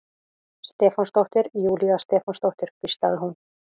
Stefánsdóttir, Júlía Stefánsdóttir, hvíslaði hún.